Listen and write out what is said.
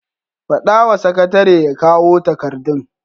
Faɗa wa sakatare ya kawo takardun.